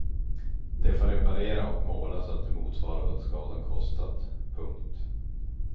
De får reparera och måla så att det motsvarar vad skadan kostat. punkt